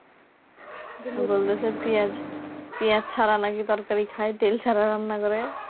বলছে পেঁয়াজ পেঁয়াজ ছাড়া নাকি তরকারি খায় তেল ছাড়া নাকি রান্না করে